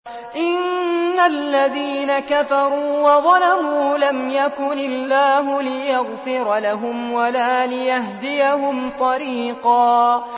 إِنَّ الَّذِينَ كَفَرُوا وَظَلَمُوا لَمْ يَكُنِ اللَّهُ لِيَغْفِرَ لَهُمْ وَلَا لِيَهْدِيَهُمْ طَرِيقًا